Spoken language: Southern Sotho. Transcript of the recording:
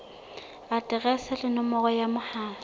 aterese le nomoro ya mohala